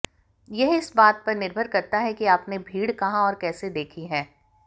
यह इस बात पर निर्भर करता है कि आपने भीड़ कहां और कैसे देखी है